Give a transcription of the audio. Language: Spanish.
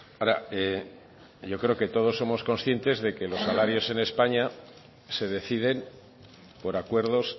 ahora yo creo que todos somos conscientes de que los salarios en españa se deciden por acuerdos